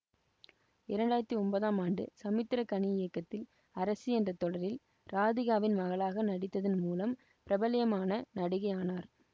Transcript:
இரண்டு ஆயிரத்தி ஒன்பதாம் ஆண்டு சமுத்திரக்கனி இயக்கத்தில் அரசி என்ற தொடரில் ராதிகாவின் மகளாக நடித்ததன் மூலம் பிரபல்யமான நடிகை ஆனார்